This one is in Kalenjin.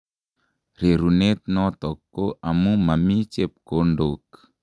Rerunet notok ko amu mami chebkondok.